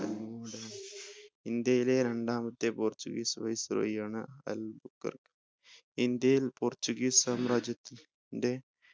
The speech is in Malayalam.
ഇന്ത്യയിലെ രണ്ടാമത്തെ portuguese viceroy ആണ് അൽ ബുക്കർക്ക് ഇന്ത്യയിൽ portuguese സാമ്രാജ്യത്തിന്റെ